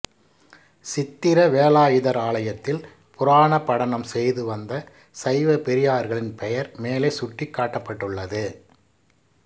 சித்திர வேலாயுதர் ஆலயத்தில் புராண படனம் செய்து வந்த சைவபெரியார்களின் பெயர் மேலே சுட்டிக்காட்டிடப்படுள்ளது